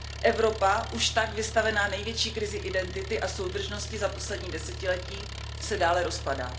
Evropa, už tak vystavená největší krizi identity a soudržnosti za poslední desetiletí, se dále rozpadá.